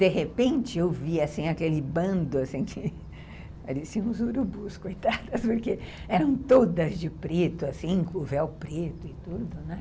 De repente, eu vi assim aquele bando que pareciam os urubus, coitadas, porque eram todas de preto, com véu preto e tudo, né.